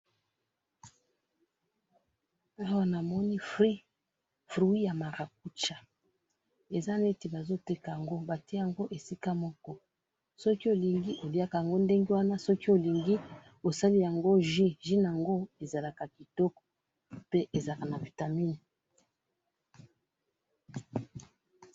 awa namoni fruit fruit ya marakuja eza neit bazo teka yango batiye yango esika moko soki olingi okoki koliya yango moko soki olingi okoki kosala nayango jus jus ezalaka kitoko pe ezalaka na ba vitamine